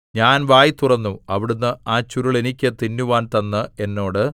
ഞാൻ വായ് തുറന്നു അവിടുന്ന് ആ ചുരുൾ എനിക്ക് തിന്നുവാൻ തന്ന് എന്നോട്